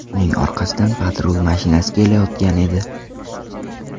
Uning orqasidan patrul mashinasi kelayotgan edi.